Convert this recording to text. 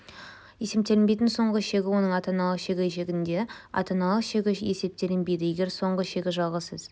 есептелінбейтін соңғы шегі оның ата-аналық шегі шегінде ата-аналық шегі есептелінбейді егер соңғы шегі жалғыз